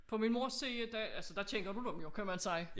På min mors side altså der kender du dem jo kan man sige